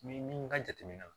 Ni min ka jateminɛ na